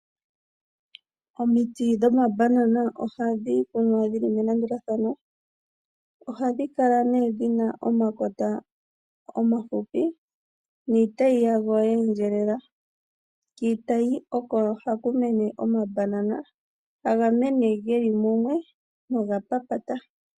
Omiti dhomabanana ohadhi kunwa dhili melandulathano. Ohadhi kala dhina nee dhina omakota omahupi niitayi yadho yeendjelela kiitayi oko haku mene omabanana haga mene geli mumwe noga papata.